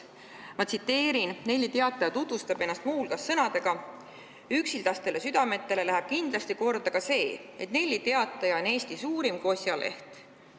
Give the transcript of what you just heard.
Ma tsiteerin, Nelli Teataja tutvustab ennast muu hulgas sõnadega: "Üksildastele südametele läheb kindlasti korda ka see, et Nelli Teataja on Eesti suurim kosjaleht.